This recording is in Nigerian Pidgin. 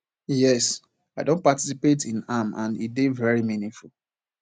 yes i don participate in am and e dey very meaningful